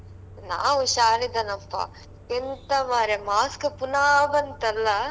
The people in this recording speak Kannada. ನಾ ಹುಷಾರ್ ಇದೆನಪ್ಪಾ, ಎಂತ ಮಾರ್ರೆ mask ಪುನಾ ಬಂತಲ್ಲ?